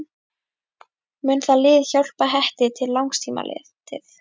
Mun það lið hjálpa Hetti til langs tíma litið?